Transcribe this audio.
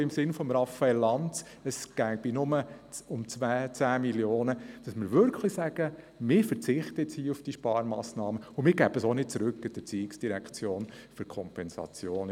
Im Sinne von Raphael Lanz, der sagt, es gehe nur um 10 Mio. Franken, sollten wir sagen: Wir verzichten auf diese Sparmassnahme und geben sie auch nicht an die ERZ zurück im Sinne einer Kompensation.